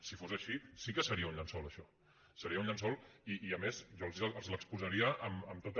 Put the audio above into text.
si fos així sí que seria un llençol això seria un llençol i a més jo els l’exposaria amb tota